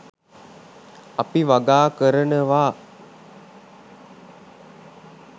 අපි වගා කරනවා